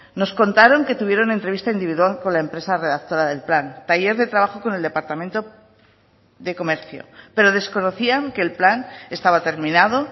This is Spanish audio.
nos contaron que tuvieron entrevista individual con la empresa redactora del plan taller de trabajo con el departamento de comercio pero desconocían que el plan estaba terminado